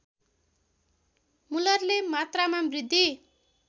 मुलरले मात्रामा वृद्धि